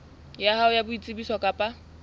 ya hao ya boitsebiso kapa